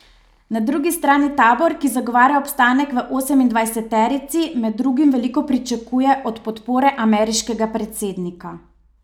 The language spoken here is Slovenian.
Na drugi strani tabor, ki zagovarja obstanek v osemindvajseterici, med drugim veliko pričakuje od podpore ameriškega predsednika.